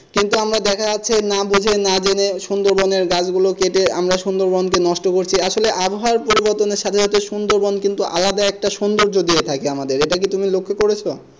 কিন্তু আমরা দেখা যাচ্ছে না বুঝে না জেনে সুন্দরবনের গাছগুলো কেটে আমরা সুন্দরবনকে নষ্ট করছি আসলে আবহাওয়ার পরিবর্তনের সাথে সাথে সুন্দরবন কিন্তু আলাদা একটা সুন্দর্য দিয়ে থাকে আমাদের এটা কি তুমি লক্ষ করেছো?